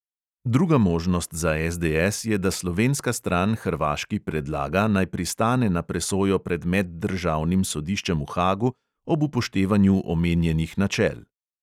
Druga možnost za SDS je, da slovenska stran hrvaški predlaga, naj pristane na presojo pred meddržavnim sodiščem v hagu ob upoštevanju omenjenih načel.